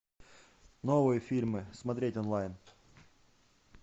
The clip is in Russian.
новые фильмы смотреть онлайн